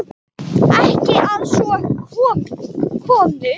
Ekki að svo komnu.